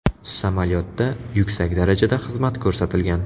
Samolyotda yuksak darajada xizmat ko‘rsatilgan.